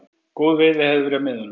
Góð veiði hefði verið á miðunum